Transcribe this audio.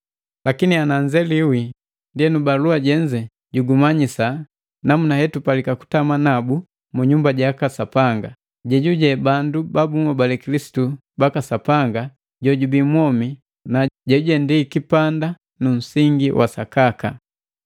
Lakini nanzeliwi, ndienu balua jenze jugumanyisa namuna hetupalika kutama nabu mu nyumba jaka Sapanga, jejuje bandu babuhobale Kilisitu baka Sapanga jojubii mwomi, na jejuje ndi kipanda nu nsingi wa sakaka.